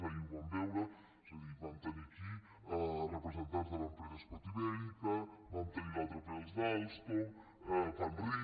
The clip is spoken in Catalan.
ahir ho vam veure és a dir vam tenir aquí representants de l’empresa schott iberica vam tenir l’altre ple els d’alstom panrico